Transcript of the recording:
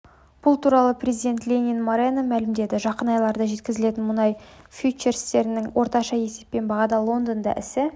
бұл туралы президент ленин морено мәлімдеді жақын айларда жеткізілетін мұнай фьючерстерінің орташа есептеген бағасы лондонда ісі